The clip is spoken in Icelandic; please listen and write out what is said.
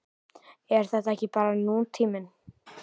Er þetta ekki bara nútíminn?